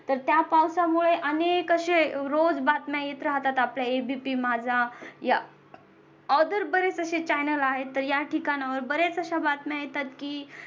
तर त्या पावसामुळे अनेक असे रोज बातम्या येत राहतात आपल्या ABP माझा या other बरेच असे channel आहेत तर या ठिकाणावर बरेच अश्या बातम्या येतात की